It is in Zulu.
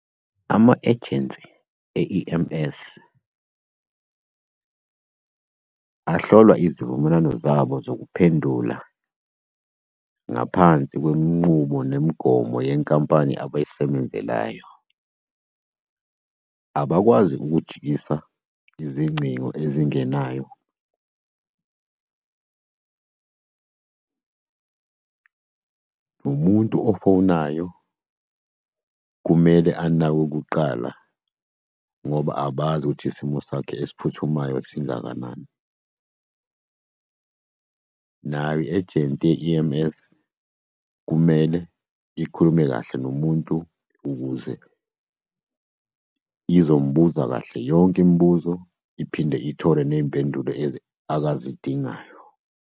Ama-ejensi e-E_M_S ahlolwa izivumelwano zabo zokuphendula ngaphansi kwenqubo nemigomo yenkampani abayisebenzelayo. Abakwazi ukujikisa izingcingo ezingenayo. Umuntu ofonayo kumele anakwe kuqala, ngoba abazi ukuthi isimo sakhe esiphuthumayo singakanani. Nayo i-ejenti ye-E_M_S kumele ikhulume kahle nomuntu ukuze izombuza kahle yonke imibuzo, iphinde ithole ney'mpendulo akazidingayo.